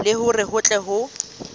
le hore ho tle ho